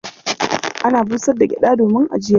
Akan busar da gyaɗa domin ajiya.